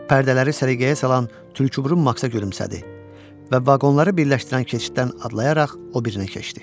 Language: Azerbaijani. Pərdələri səliqəyə salan tülküburun Maksə gülümsədi və vaqonları birləşdirən keçiddən adlayaraq o birinə keçdi.